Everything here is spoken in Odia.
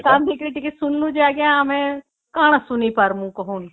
ସେଟା କାନ ଦେଇକି କରି ଶୁଣିଲୁ ଆଂଜ୍ଞା ଯେ ଆମେ କଣ ଶୁଣି ପାରିବୁ କହୁନ